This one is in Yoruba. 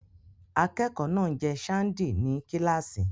Akẹ́kọ̀ọ́ náà ń jẹ ṣándì ní kíláàsì.